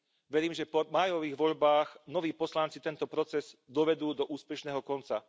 Verím, že po májových voľbách noví poslanci tento proces dovedú do úspešného konca.